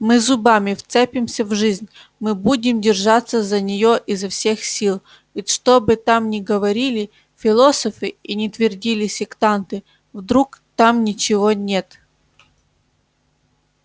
мы зубами вцепимся в жизнь мы будем держаться за неё изо всех сил ведь что бы там ни говорили философы и ни твердили сектанты вдруг там ничего нет